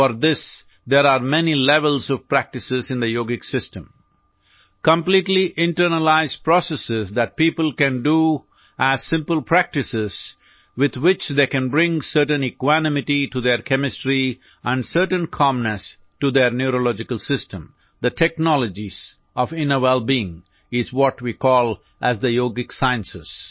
four this there are many levels of practice in the yogic system completely internalise process that people can do as simple practice with which they can bring certain equanimity to their chemistry and certain calmness to their neurological system the technologies of inner wellbeing are what we call as the yogic science